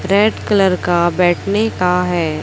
Red colour का बैठने का हैं।